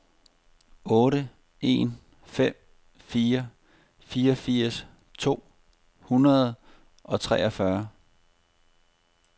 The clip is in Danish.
otte en fem fire fireogfirs to hundrede og treogfyrre